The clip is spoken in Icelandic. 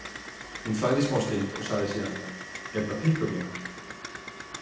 Hún þagði smástund og sagði síðan: Er þetta pikköpplína?